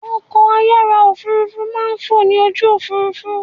Ọkọ̀-ayára òfurufú máa ń fọ ní ojú òfurufú